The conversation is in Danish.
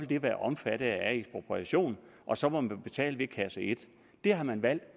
det være omfattet af ekspropriation og så må man betale ved kasse et det har man valgt